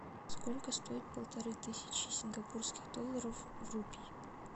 сколько стоит полторы тысячи сингапурских долларов в рупий